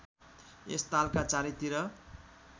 यस तालका चारैतिर